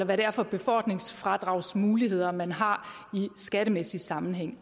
hvad det er for befordringsfradragsmuligheder man har i skattemæssig sammenhæng